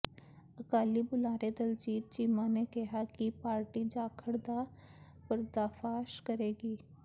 ਅਕਾਲੀ ਬੁਲਾਰੇ ਦਲਜੀਤ ਚੀਮਾ ਨੇ ਕਿਹਾ ਕਿ ਪਾਰਟੀ ਜਾਖੜ ਦਾ ਪਰਦਾਫਾਸ਼ ਕਰੇਗੀ